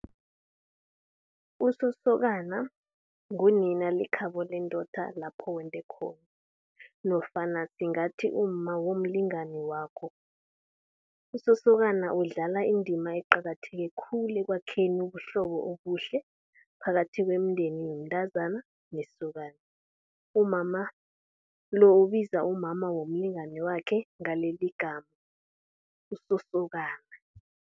USosokana ngunina lekhabo lendoda lapho wende khona nofana singathi umma womlingani wakho. USosokana udlala indima eqakatheke khulu ekwakheni ubuhlobo obuhle phakathi kwemindenini womntazana nesokana. Umama lo ubizwa umama womlingani wakhe ngalelo igama, uSosokana.